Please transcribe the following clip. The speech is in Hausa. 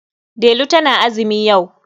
Delu tana azumi yau.